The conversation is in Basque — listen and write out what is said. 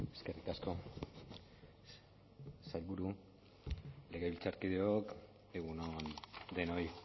eskerrik asko sailburu legebiltzarkideok egun on denoi